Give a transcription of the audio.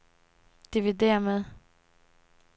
dividér med